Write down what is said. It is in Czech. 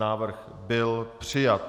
Návrh byl přijat.